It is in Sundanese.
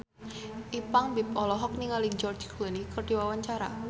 Ipank BIP olohok ningali George Clooney keur diwawancara